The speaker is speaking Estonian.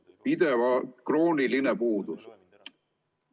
See on pidev, krooniline puudus.